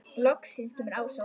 Loksins kemur Ása út.